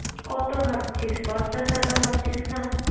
কত ভাবছিস? পঞ্চাশ ষাট ও ভাবছিস না?